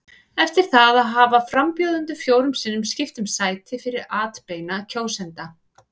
Eftir það hafa frambjóðendur fjórum sinnum skipt um sæti fyrir atbeina kjósenda.